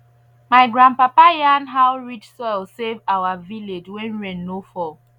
my grandpapa yarn how rich soil save our village when rain no fall